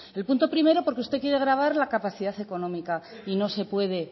el punto primero porque usted quiere gravar la capacidad económica y no se puede